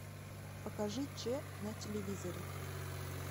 покажи че на телевизоре